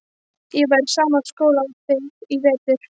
Ég var í sama skóla og þið í vetur.